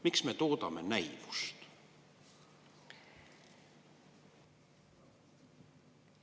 Miks me toodame näivust?